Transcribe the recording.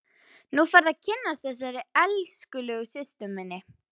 Nú færðu að kynnast þessari elskulegu systur minni!